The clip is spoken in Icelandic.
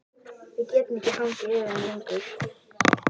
Við getum ekki hangið yfir þeim lengur.